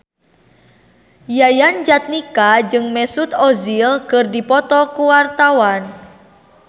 Yayan Jatnika jeung Mesut Ozil keur dipoto ku wartawan